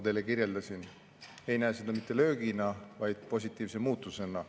Veel kord: sektor ei näe seda mitte löögina, vaid positiivse muutusena.